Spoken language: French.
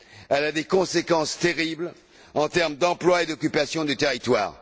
Elle a des conséquences terribles en termes d'emploi et d'occupation du territoire.